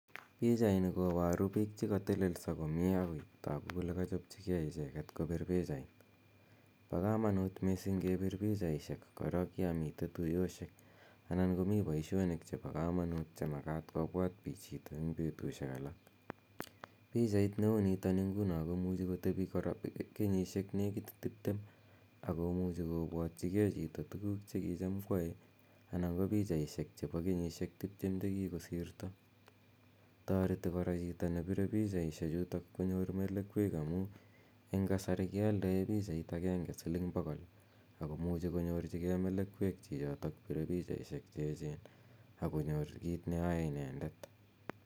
Pichaini koparu piik che katelelso komye ako tagu kole kachop chi gei icheket kopir pichait. Pa kamanut missing' kepir pichaishek korok ya mitei tuyoshek anan ko mi poishonik chepo kamanut che makat kopwat chito eng' petushek alak. Pichait ne u nitani nguno ko muchi kotepi kora kenyishek nekit tiptem ako muchi kopwatyige chito tuguuk che kicham koyae anan ko pichaishek chepo kenyishek tiptem che kikosirto. Tareti kora chito nepire pichaishechutok konyor melekwek amu eng' kasari kealdae pichait agenge siling' pogol ako muchi konyorchigei melekwek chichitok pire pichaishek che echen ak konyor kiit neyae inendet.